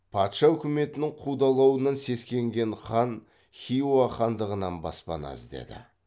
патша үкіметінің қудалауынан сескенген хан хиуа хандығынан баспана іздеді